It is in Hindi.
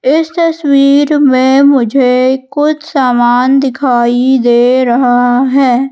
इस तस्वीर में मुझे कुछ सामान दिखाई दे रहा है।